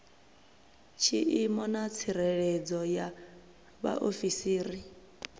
tshiimo na tsireledzo ya vhaofisiri